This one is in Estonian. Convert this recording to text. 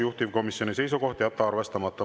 Juhtivkomisjoni seisukoht on jätta arvestamata.